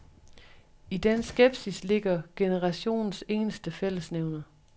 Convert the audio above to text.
I den skepsis ligger generationens eneste fællesnævner.